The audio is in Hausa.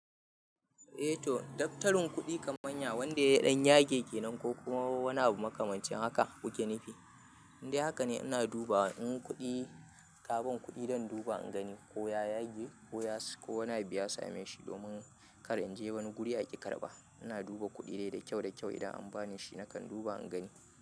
Eh to, daftarin kuɗi kamar yanzu wanda ya ɗan yage kenan ko kuma wani abu makamancin haka kuke nufi. Indai haka ne ina duba in kuɗi, kaban kuɗi don duba in gani ko ya yage ko yana biya same shi domin kar in je wani guri a ƙi karɓa. Ina duba kuɗi dai da kyau-kyau idan an ba ni shi nakan duba in gani.